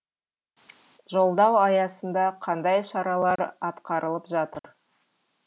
жолдау аясында қандай шаралар атқарылып жатыр